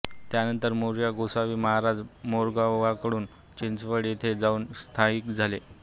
त्यानंतर मोरया गोसावी महाराज मोरगावहून चिंचवड येथे जाऊन स्थायिक झाले